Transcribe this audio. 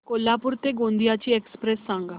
कोल्हापूर ते गोंदिया ची एक्स्प्रेस सांगा